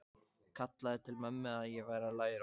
Kallaði til mömmu að ég væri að læra.